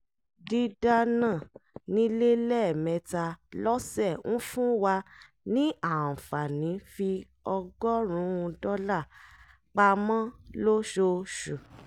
dídánà nílé lẹ́ẹ̀mẹ́ta lọ́sẹ̀ ń fún wa ní àǹfààní fi ọgọ́rùn-ún dọ́là pamọ́ lóṣooṣù